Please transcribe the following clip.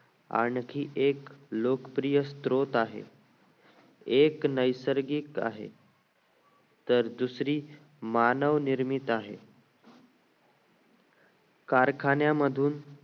आणखी एक लोकप्रिय स्रोत आहे एक नैसर्गिक आहे तर दुसरी मानव निर्मित आहे कारखान्या मधून